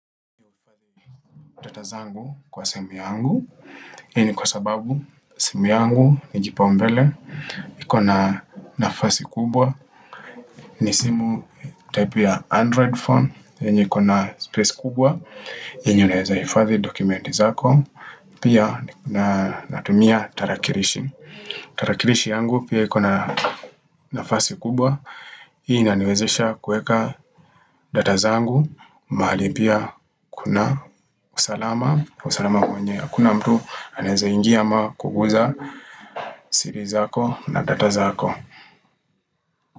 Data zangu kwa simu yangu hii ni kwa sababu simu yangu ni kipaumbele iko na nafasi kubwa ni simu type ya Android phone yenye iko na space kubwa yenye inaweza hifadhi dokumenti zako Pia na tumia tarakilishi tarakilishi yangu pia ikona nafasi kubwa Hii iniwezesha kuweka data zangu mahali pia kuna usalama usalama kwenye ya kuna mtu anweza ingia ama kuguza siri zako na data zako.